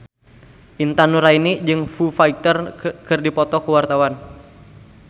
Intan Nuraini jeung Foo Fighter keur dipoto ku wartawan